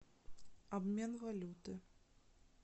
обмен валюты